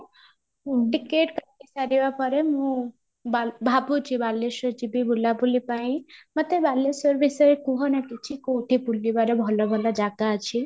ticket ସାରିବା ପରେ ମୁଁ ଭାବୁଛି ବାଲେଶ୍ୱର ଯିବି ବୁଲାବୁଲି ପାଇଁ, ମୋତେ ବାଲେଶ୍ୱର ବିଷୟରେ କୁହ ନା କିଛି କଉଠି ବୁଲିବାର ଭଲ ଭଲ ଜାଗା ଅଛି